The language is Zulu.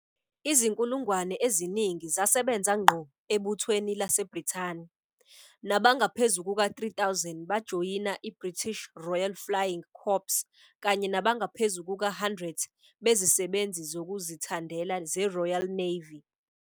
Izinkulungwane eziningi zasebenza ngqo eButhweni LaseBrithani, nabangaphezu kuka-3 000 bejoyina iBritish Royal Flying Corps kanye nabangaphezu kuka-100 bezisebenzi zokuzithandela zeRoyal Navy.